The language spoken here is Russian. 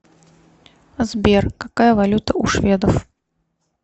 сбер какая валюта у шведов